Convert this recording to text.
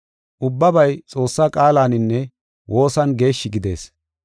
Ubbabay Xoossaa qaalaninne woosan geeshshi gidees.